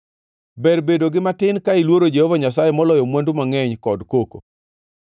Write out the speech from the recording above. Ber bedo gi matin ka iluoro Jehova Nyasaye moloyo mwandu mangʼeny kod koko.